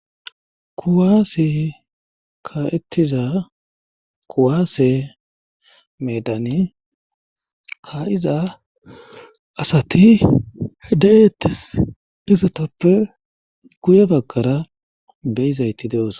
kuwaasi ka7ettiza kuwaase medani ka7iza asati hedeettis izotoppe guye bakkara beyizayti de7os